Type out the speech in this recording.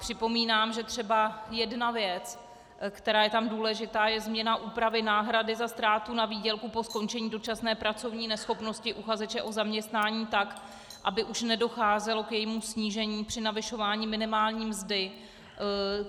Připomínám, že třeba jedna věc, která je tam důležitá, je změna úpravy náhrady za ztrátu na výdělku po skončení dočasné pracovní neschopnosti uchazeče o zaměstnání tak, aby už nedocházelo k jejímu snížení při navyšování minimální mzdy.